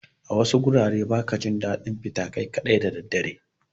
A wasu garuruwan ba ka jin daɗin fita kai kaɗai da dare.